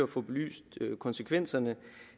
få belyst konsekvenserne